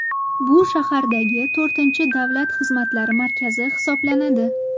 Bu shahardagi to‘rtinchi davlat xizmatlari markazi hisoblanadi.